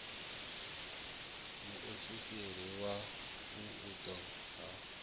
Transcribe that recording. muofisiri wa u unḓwa ha